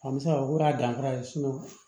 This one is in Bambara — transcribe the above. A bɛ se k'a fɔ ko a danfara ye